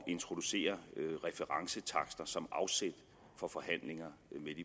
introducere referencetakster som afsæt for forhandlinger